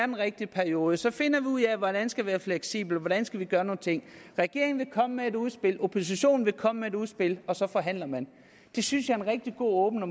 den rigtige periode så finder vi ud af hvordan vi skal være fleksible og hvordan vi skal gøre tingene regeringen vil komme med et udspil oppositionen vil komme med et udspil og så forhandler man det synes jeg er en rigtig god og